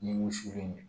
Ni wusuli in ye